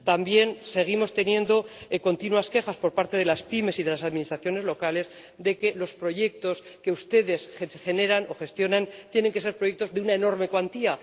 También seguimos teniendo continuas quejas, por parte de las pymes y de las administraciones locales, de que los proyectos que ustedes generan o gestionan tienen que ser proyectos de una enorme cuantía.